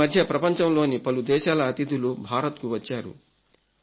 ఈ మధ్య ప్రపంచంలోని పలు దేశాల అతిథులు భారత్కు వచ్చారు